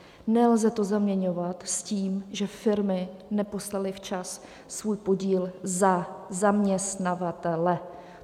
Nelze to zaměňovat s tím, že firmy neposlaly včas svůj podíl za zaměstnavatele.